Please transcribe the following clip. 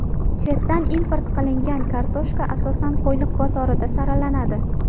Chetdan import qilingan kartoshka asosan Qo‘yliq bozorida saralanadi.